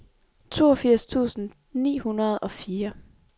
toogfirs tusind ni hundrede og fire